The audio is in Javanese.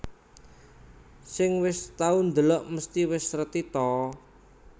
Sing wis tau ndelok mesti wis reti ta